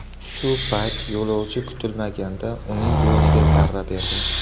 Shu payt yo‘lovchi kutilmaganda uning bo‘yniga zarba berdi.